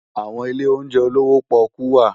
Awòn ilé óunjè ólowò pòkú wá